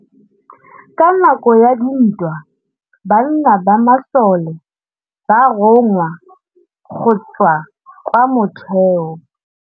Ka nakô ya dintwa banna ba masole ba rongwa go tswa kwa mothêô.